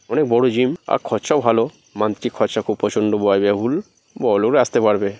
অনেক বড় জিম আর খরচাও ভালো মান্থলি খরচা খুব প্রচন্ড ব্যয়বহুল বড়ো পারবে